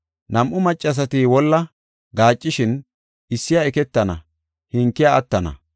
Nam7u maccasati wolla gaaccishin iissiya eketana, hankiya attana.